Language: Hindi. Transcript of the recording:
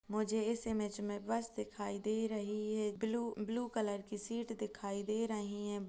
मुझे इस इमेज में बस दिखाई दे रही है ब्लू - ब्लू कलर की सीट दिखाई दे रही हैं।